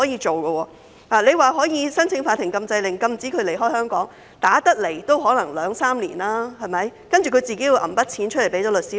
即使可以申請法庭禁制令，禁止支付一方離港，但訴訟期可能要兩三年，受款人還要先拿錢支付律師費。